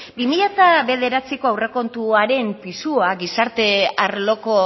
bi mila bederatziko aurrekontuaren pisua gizarte arloko